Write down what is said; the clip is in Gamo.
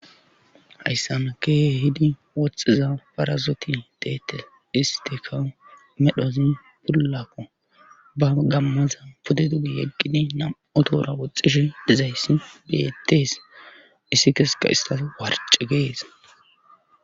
hayssana kehidi woxxiza parasoti deettes istika medhozi pullakko ba gammaza pode dugi yeggidi nam7otora woxxishe dezayssi deettees issi keseka istas warcci gees